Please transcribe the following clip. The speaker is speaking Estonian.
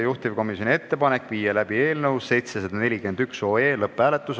Juhtivkomisjoni ettepanek on viia läbi eelnõu 741 lõpphääletus.